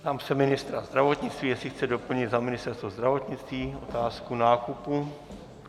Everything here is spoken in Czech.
Ptám se ministra zdravotnictví, jestli chce doplnit za Ministerstvo zdravotnictví otázku nákupů.